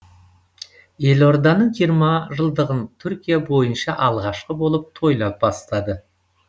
елорданың жиырма жылдығын түркия бойынша алғашқы болып тойлай бастады